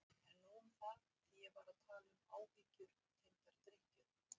En nóg um það, því ég var að tala um áhyggjur tengdar drykkju.